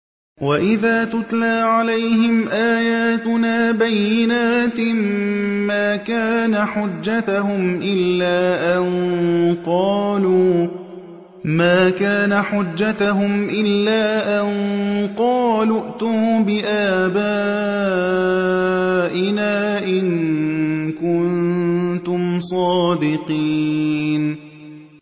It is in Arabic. وَإِذَا تُتْلَىٰ عَلَيْهِمْ آيَاتُنَا بَيِّنَاتٍ مَّا كَانَ حُجَّتَهُمْ إِلَّا أَن قَالُوا ائْتُوا بِآبَائِنَا إِن كُنتُمْ صَادِقِينَ